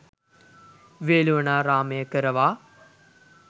වේළුවනාරාමය කරවා